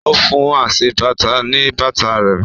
O fún aṣebàtà ní bàtà rẹ̀